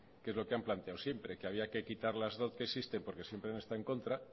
que es lo que han planteado siempre que había que quitar las dot que existen porque siempre han estado en contra